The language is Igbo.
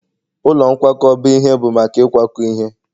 ụlọ nkwakọba ihe bụ maka ịkwakọ ihe